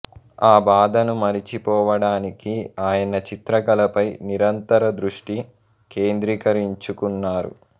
ఆ బాధను మరచి పోవడానికి ఆయన చిత్రకళపై నిరంతర దృష్టి కేంద్రీకరించుకున్నారు